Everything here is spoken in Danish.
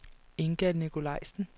Inga Nicolajsen